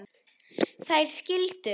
Þær skildu.